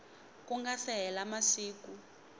ku nga se hela masiku